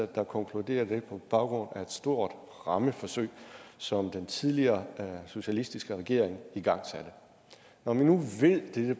der konkluderer det på baggrund af et stort rammeforsøg som den tidligere socialistiske regering igangsatte når vi nu